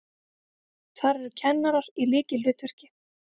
Þar eru kennarar í lykilhlutverki.